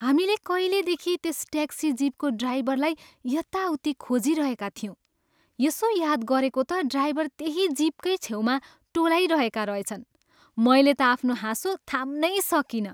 हामीले कहिलेदेखि त्यस ट्याक्सी जिपको ड्राइभरलाई यताउति खोजिरहेका थियौँ, यसो याद गरेको त ड्राइभर त्यहीँ जिपकै छेउमा टोलाइरहेका रहेछन्। मैले त आफ्नो हाँसो थाम्नै सकिनँ।